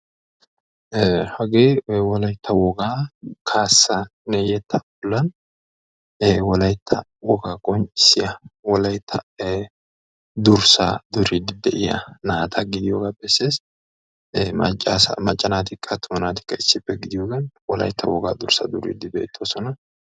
Hagee wolaytta wogaa kaassanne yetta, ee wolaytta wogaa qonccissiya wolaytta durssaa duriidi de'iyaa naata gidiyooga bessees. Macca naatikka attuma naatikka issippe gidiyoogan wolaytta wogaa durssa duridi bettoosona.